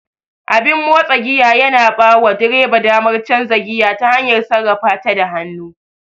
Abin motsa giya yana bawa direba damar canza giya ta hanyar sarrafata da hannu.